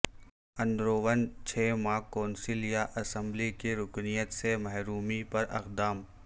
اندرون چھ ماہ کونسل یا اسمبلی کی رکنیت سے محرومی پر اقدام